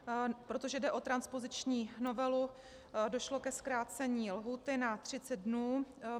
Protože jde o transpoziční novelu, došlo ke zkrácení lhůty na 30 dnů.